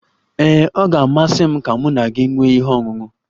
Ee, ọ ga-amasị m ka mụ na gị nwee ihe ọṅụṅụ.